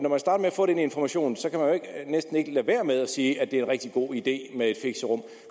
få den information kan man næsten ikke lade være med at sige at det er en rigtig god idé med et fixerum